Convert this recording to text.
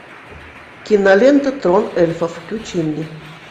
кинолента трон эльфов включи мне